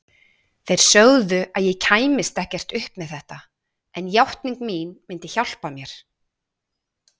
Þeir sögðu að ég kæmist ekkert upp með þetta, en játning mín myndi hjálpa mér.